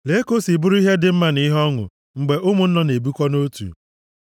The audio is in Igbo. Lee ka o si bụrụ ihe dị mma na ihe ọṅụ mgbe ụmụnne na-ebikọ nʼotu! + 133:1 \+xt Hib 13:1\+xt*